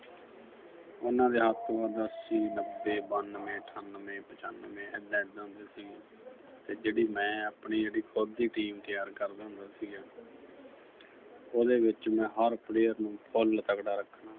ਉਨ੍ਹਾਂ ਦੇ ਅੱਸੀ, ਨੱਬੇ, ਬਾਨਵੇਂ, ਅਠਾਨਵੇਂ, ਪਚਾਨਵੇਂ ਐਦਾਂ-ਐਦਾਂ ਦੇ ਸੀ ਤੇ ਜਿਹੜੀ ਮੈਂ ਆਪਣੀ ਜਿਹੜੀ ਖੁਦ ਦੀ team ਤਿਆਰ ਕਰਦਾ ਹੁੰਦਾ ਸੀਗਾ ਉਹਦੇ ਵਿੱਚ ਮੈਂ ਹਰ player ਨੂੰ ਫੁੱਲ ਤਕੜਾ ਰੱਖਣਾ